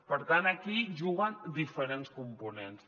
per tant aquí juguen diferents components